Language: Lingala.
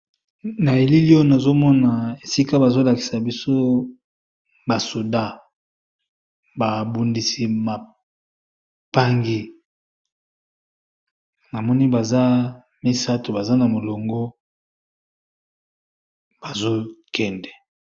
Na elili oyo nazo mona esika bazol lakisa biso ba soda ba bundisi ba mpangi na moni baza misato, baza na molongo bazo kende .